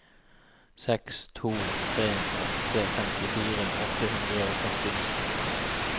seks to tre åtte femtifire åtte hundre og førtini